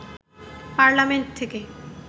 parliament থেকে